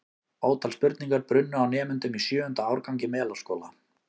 Ótal spurningar brunnu á nemendum í sjöunda árgangi Melaskóla.